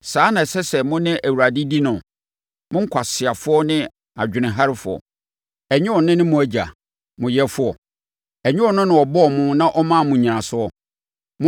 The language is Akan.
Saa na ɛsɛ sɛ mo ne Awurade di no? Mo nkwaseafoɔ ne adwenemherɛfoɔ. Ɛnyɛ ɔno ne mo Agya, mo yɛfoɔ? Ɛnyɛ ɔno na ɔbɔɔ mo na ɔmaa mo nnyinasoɔ?